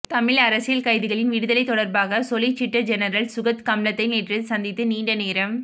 தமிழ் அரசியல் கைதிகளின் விடுதலை தொடர்பாக சொலிசிட்டர் ஜெனரல் சுகத் கம்லத்தை நேற்று சந்தித்து நீண்டநேரம்